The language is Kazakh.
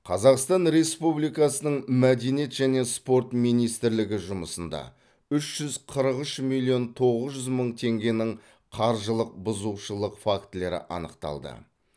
қазақстан республикасының мәдениет және спорт министрлігі жұмысында үш жүз қырық үш миллион тоғыз жүз мың теңгенің қаржылық бұзушылық фактілері анықталды